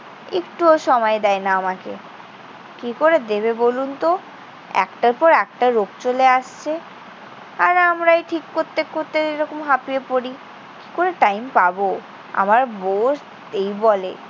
একটুও সময় দেয় না আমাকে। কি করে দেবে বলুনতো? একটার পর একটা রোগ চলে আসছে। আর আমরাই ঠিক করতে করতে এরকম হাঁপিয়ে পড়ি। কি করে time পাব? আমার বউও এই বলে।